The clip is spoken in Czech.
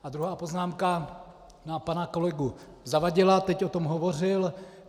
A druhá poznámka na pana kolegu Zavadila, teď o tom hovořil.